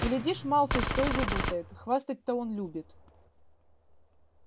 глядишь малфой что и выболтает хвастать-то он любит